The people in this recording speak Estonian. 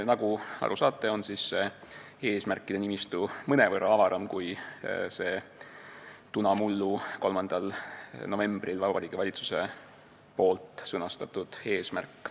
Nagu aru saate, on eesmärkide nimistu mõnevõrra avaram kui Vabariigi Valitsuse tunamullu, 3. novembril sõnastatud eesmärk.